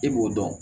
E b'o dɔn